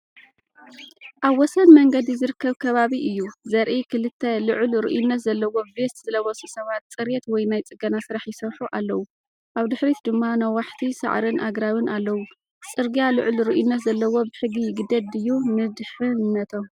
ኣብ ወሰን መንገዲ ዝርከብ ከባቢ እዩ ዘርኢ፤ ክልተ ልዑል ርኡይነት ዘለዎ ቬስት ዝለበሱ ሰባት ጽሬት ወይ ናይ ጽገና ስራሕ ይሰርሑ ኣለዉ፡ ኣብ ድሕሪት ድማ ነዋሕቲ ሳዕርን ኣግራብን ኣለዉ። ጽርግያ ልዑል ርኡይነት ዘለዎ ብሕጊ ይግደድ ድዩ ንድሕነቶም?